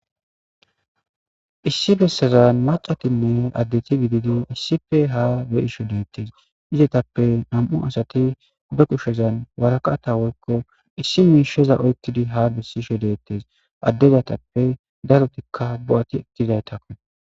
Issi bessazan macatime addeti gididi issife haa be isho deettes izetappe nam'u asati be kushezan waraqata wolko issi miisheza oykidi ha bessishe dettes addezatappe darotikka bo'ati etizaytakkon.